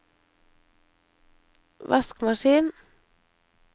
vaskemaskin